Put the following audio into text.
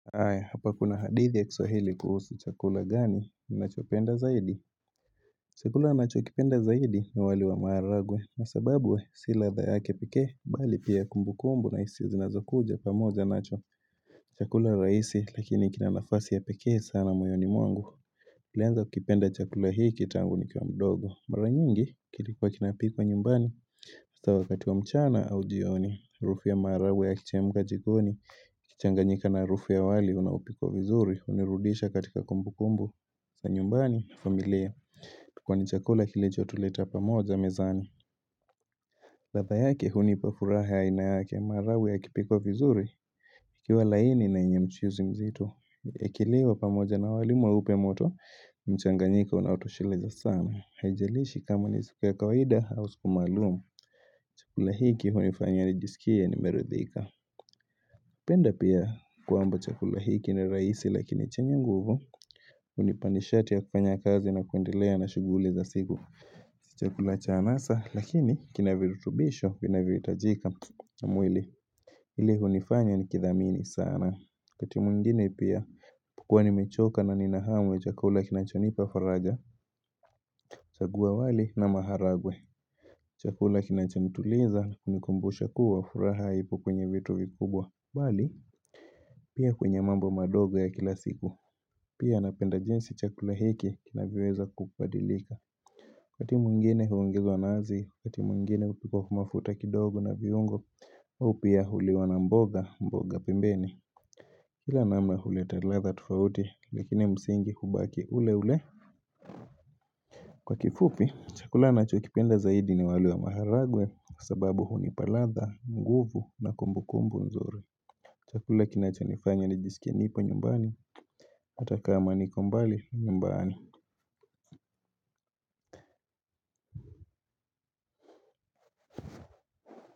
Ae, hapa kuna hadithi ya kiswahili kuhusi chakula gani, ni nacho penda zaidi? Chakula nacho kipenda zaidi ni wali wa maharagwe, na sababu sio ladha yake pekee, bali pia kumbu kumbu na isia zinazo kuja pamoja nacho chakula rahisi, lakini kina nafasi ya pekee sana moyoni mwangu. Kulianza kipenda chakula hiki tangu nikiwa mdogo Mara nyingi kilikuwa kinapikwa nyumbani haswa wati wa mchana au jioni Harufu ya maharagwe ya kichemka jikoni Kichanganyika na harufu wali unapikwa vizuri hunirudisha katika kumbu kumbu za nyumbani, familia Kwani chakula kilicho tuleta pamoja mezani ladha yake hunipa furaha ya ina yake maharagwe yakipikwa vizuri Ikiwa laini na yenye mchuzi mzitu Kiliwa pamoja na wali mweupe moto mchanganyika unautoshileza sana haijalishi kama ni siku ya kawaida au sikumalumu chakula hiki hunifanya nijisikia nimeridhika penda pia kwamba chakula hiki ni raisi lakini chenye nguvu unipanishati ya kukanya kazi na kuendelea na shuguliza siku chakula cha anasa lakini kinavirutubisho kinavirutajika na mwili ili hunifanya nikithamini sana wakati mwingine pia ninapokuwa nimechoka na ninahamu chakula kinachonipa faraja chagua wali na maharagwe Chakula kinachantuliza kunikumbusha kuwa furaha haipo kwenye vitu vikubwa Bali Pia kwenye mambo madogo ya kila siku Pia napenda jinsi chakula hiki Kinavyoweza kupadilika Wakati mwingine huongezwa nazi wakati mwingine hupikwa kwa mafuta kidogo na viungo au pia huliwa na mboga mboga pembeni Kila nama huletaladha tofauti Lakini ya msingi hubaki ule ule Kwa kifupi Chakula nachokipenda zaidi ni waliwa maharagwe sababu huu ni paladha, nguvu na kumbu kumbu nzire Chakula kinachonifanya nijisikie nipo nyumbani Atakama niko mbali nyumbani.